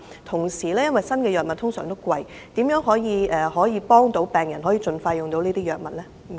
同時，新藥物通常都是昂貴的，政府如何幫助病人盡快使用這些藥物呢？